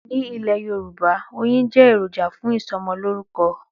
Ní Ilè yorùbá oyin jẹ́ ẹ̀ròjà fún ìsọmọ lorúkọ̀